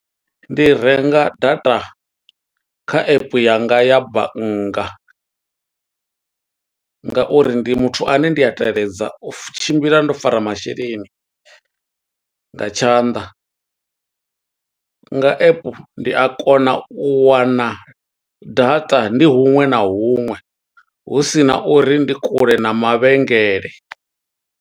Ndi renga data kha epe yanga ya bannga, nga uri ndi muthu ane ndi a teledza u tshimbila ndo fara masheleni nga tshanḓa. Nga app, ndi a kona u wana data ndi huṅwe na huṅwe, husina uri ndi kule na mavhengele.